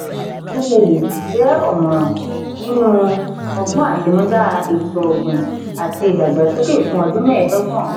nwuneli jẹ ọmọran nínú ọgbọn atinuda ètò ọgbin àti ìdàgbàsókè fún ọdún mẹẹdọgbọn.